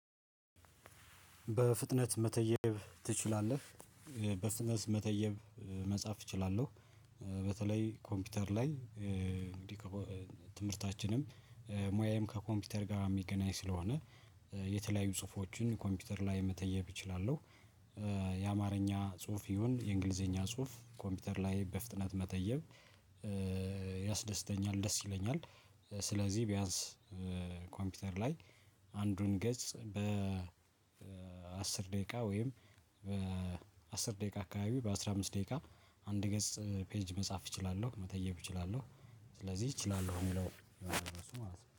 በፍጥነት መተየብ ትችላለህ? በፍጥነት መተየብ መጻፍ እችላለሁ። በተለይ ኮምፒውተር ላይ እንግዲህ ትምህርታችንም ሙያየም ከ ኮምፕዩተር ጋር የሚገናኝ ስለሆነ የተለያዩ ጽሁፎችን ኮምፒውተር ላይ መተየብ እችላለሁ። የአማርኛ ጽሁፍ ይሁን የእንግሊዘኛ ጽሁፍ ኮምፒውተር ላይ በፍጥነት መተየብ ያስደስተኛል ደስ ይለኛል። ስለዚህ ቢያንስ ኮምፒውተር ላይ አንዱን ገጽ በ አስር ደቂቃ ወይም በአስር ደቂቃ አካባቢ በአስራ አምስት ደቂቃ አንድ ገጽ መጻፍ እችላለሁ መተየብ እችላለሁ። ስለዚህ እችላለሁ የሚለው ማለት ነው